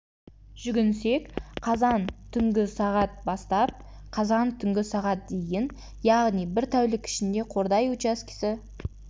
жүгінсек қазан түнгі сағат бастап қазан түнгі сағат дейін яғни бір тәулік ішінде қордай учаскесі